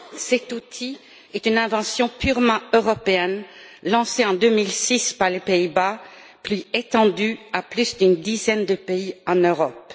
Cet outil est une invention purement européenne, lancée en 2006 par les Pays Bas et qui s'est étendue à plus d'une dizaine de pays en Europe.